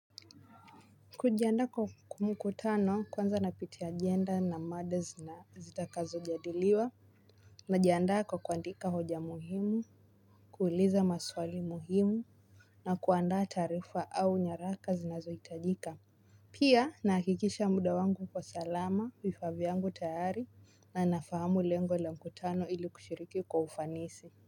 Kujiandaa kwa mkutano kwanza napitia agenda na mada zitakazojadiliwa najiandaa kwa kuandika hoja muhimu, kuuliza maswali muhimu, na kuandaa taarifa au nyaraka zinazohitajika. Pia nahakikisha muda wangu uko salama, vifaa vyangu tayari na nafahamu lengo la mkutano ili kushiriki kwa ufanisi.